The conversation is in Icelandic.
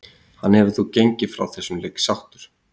Hann getur þó gengið frá þessum leik sáttur.